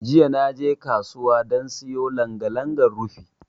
Jiya naje kasuwa dan siyo langa-langa rufi.